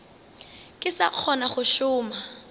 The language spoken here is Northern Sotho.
ke sa kgona go šoma